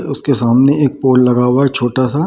उसके सामने एक पोल लगा हुआ है छोटा सा।